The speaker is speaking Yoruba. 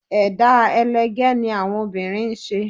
Ẹ̀dá ẹlẹgẹ́ ni àwọn obìnrin ń ṣe